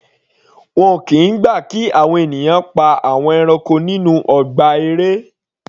Wọn kìí gbà kí àwọn ènìyàn pa àwọn ẹranko nínú ọgbà eré.